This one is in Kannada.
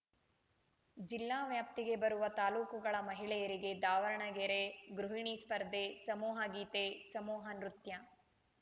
ಜಿಲ್ಲಾ ವ್ಯಾಪ್ತಿಗೆ ಬರುವ ತಾಲೂಕುಗಳ ಮಹಿಳೆಯರಿಗೆ ದಾವರ್ಣಗೆರೆ ಗೃಹಿಣಿ ಸ್ಪರ್ಧೆ ಸಮೂಹ ಗೀತೆ ಸಮೂಹ ನೃತ್ಯ